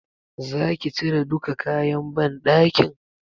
Zaki cire duka kayan banɗakin?